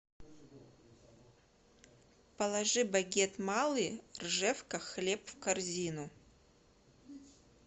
положи багет малый ржевка хлеб в корзину